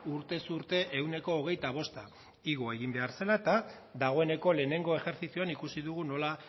urtez urte ehuneko hogeita bosta igo egin behar zela eta dagoeneko lehenengo ejertzizioan ikusi dugu nola